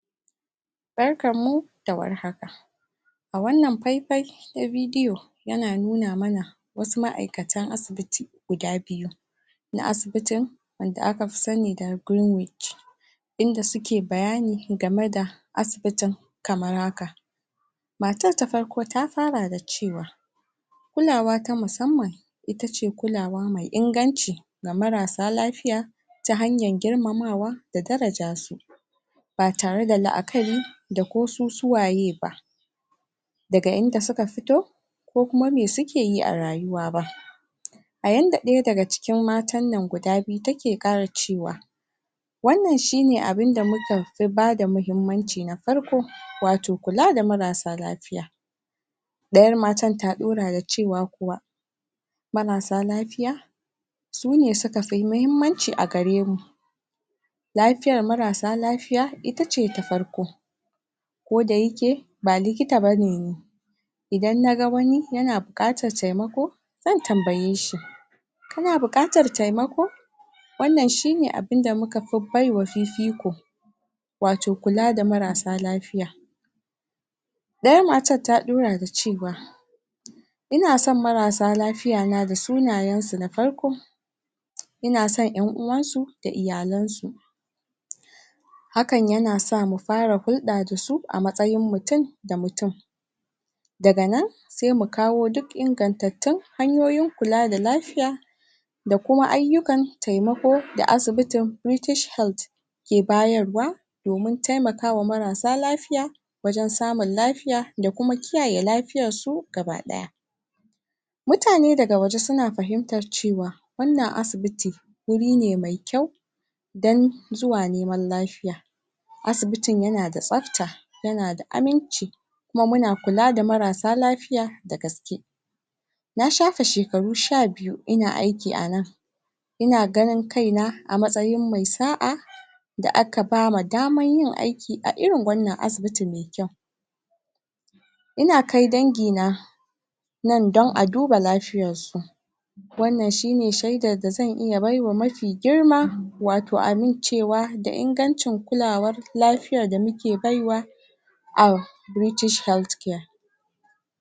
Barkanmu da warhaka a wannan faifai na bidiyo yana nuna manaa wasu ma'aikatan asibiti guda biyu na asibitin wanda aka fi sani da inda suke bayani game da asibitin kamar haka matar ta farko ta fara da cewa kulawa ta musamman ita ce kulawa ta mai inganci ga marasa lafiya ta hanyar girmamamwa da girmamam su. ba tare da la'akari da ko su suwaye ba. daga inda suka fito ko kuma me suke yi a rayuwa ba. a yanda ɗaya daga cikin matan nan guda biyu take cewa wannan shi ne abun da muka fi ba da muhimmanci na farko wato kuwa da marar sa lafiya. ɗayar matar ta ɗora da cewa kuwa marasa lafiya sune suka fi muhimmanci a gare mu lafiyar marassa lafiya ita ce ta farko ko da yake ba likita ba ne ni idan na ga wani yan buƙatar taimako zan tambaye shi kana buƙatar taimako wannan shi ne abun da muka fi bai wa fifiko. wato kula da marassa lafiya. ɗayar matar ta ɗora da cewa ina son marassa lafiyan da sunayensu na farko ina somn ƴanuwansu da iyalansu. hakan yana sa mu fara hulɗa da su a matsayin mutum da mutum daga nan sai mu kawo duk ingantattun hanyoyin kula da lafiya da kuma ayyukan taimako da asibitin British Health ke bayarwa domin taimaka wa marassa lafiya wajen samun lafiya da kuma kiyaye lafiyarsu baki ɗaya. mutane daga waje suna fahimtar cewa, wannan asibit wuri ne mai kyau don zuwa neman lafiya. asibitin yana da tsafta, yana da aminci kuma muna kula da marsa lafiya da gaske. na shafe shekaru sha biyu ina aiki a nan, ina ganin kaina a matsayin mai sa'a da aka ba ma damar yin aiki a irin wannan asibiti mai kyau. ina kai dangina nan don a duba lafiyarsu wannan shi ne shaidar da zan iya baiwa mafi girma wato amincewa da ingancin kulawar lafiyar da muke bai wa, a British Health Care.